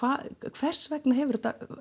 hvers vegna hefur þetta